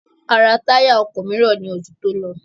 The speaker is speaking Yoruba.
A rà táyà ọkọ̀ mìíràn ní oṣù tí ó lọ.